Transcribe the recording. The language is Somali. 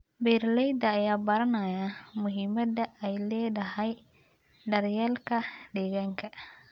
Beeralayda ayaa baranaya muhiimadda ay leedahay daryeelka deegaanka.